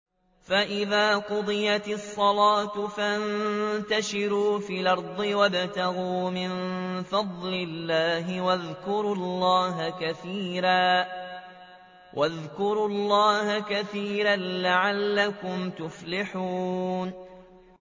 فَإِذَا قُضِيَتِ الصَّلَاةُ فَانتَشِرُوا فِي الْأَرْضِ وَابْتَغُوا مِن فَضْلِ اللَّهِ وَاذْكُرُوا اللَّهَ كَثِيرًا لَّعَلَّكُمْ تُفْلِحُونَ